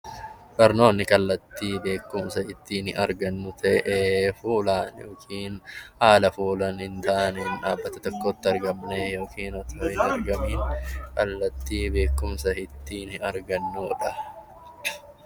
Barnoonni kallattii ittiin beekumsa argannu ta'ee, haala foolungaaneen dhaabbata tokkotti argamnee yookaan osoo hin argamiin kallattii beekumsa ittiin argannuudha.